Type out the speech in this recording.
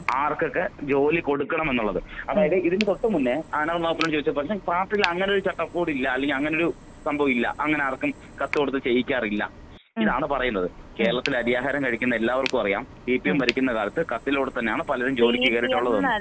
ആർക്കൊക്കെ ജോലി കൊടുക്കണമെന്നുള്ളത്. അതായത് ഇതിന്റെ തൊട്ട് മുന്നെ അനൗ നാഗപ്പനൊട് ചോദിച്ചപ്പൊൾ പാർട്ടിയിലങ്ങനെ ഒരു ചട്ടക്കൂടില്ല അല്ലെങ്കിൽ അങ്ങനൊരു സംഭവോയില്ല. അങ്ങനെ ആർക്കും കത്ത് കൊടുത്ത് ചെയ്യിക്കാറില്ല. ഇതാണ് പറയുന്നത് കേരളത്തിൽ അരിയാഹാരം കഴിക്കുന്ന എല്ലാവർക്കും അറിയാം സിപിഎം ഭരിക്കുന്ന കാലത്ത് കത്തിലൂടെതന്നെയാണ് പലരും ജോലിക്ക് കയറീട്ടുള്ളത് തന്നെ.